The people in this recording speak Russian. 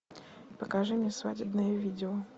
покажи мне свадебное видео